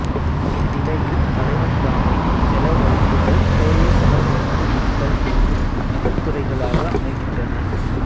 இந்நிலையில் தலைவன் தானே செலவழுங்குதல் தோழி செலவழுங்குவித்தல் என்னும் அகத்துறைகளாக அமைகின்றன